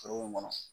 Foro in kɔnɔ